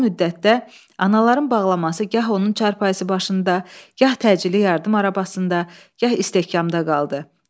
Bu müddətdə anaların bağlaması gah onun çarpayısı başında, gah təcili yardım arabasında, gah istehkamda qaldı.